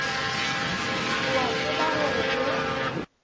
o a tseba gore go